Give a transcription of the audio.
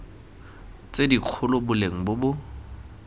tse dikgolo boleng bo bo